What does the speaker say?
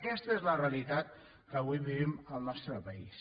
aquesta és la realitat que avui vivim al nostre país